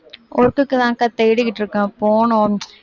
work க்கு தான் அக்கா தேடிட்டு இருக்கேன் போகணும்